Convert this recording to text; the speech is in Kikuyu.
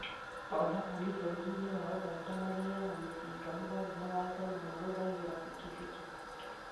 Oragani bũrũri-inĩ wa ũganda magĩaga mĩcinga mũgarũ na watho na mahũthagĩra bikibiki